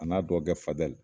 A n'a dɔnkɔkɛ fadɛl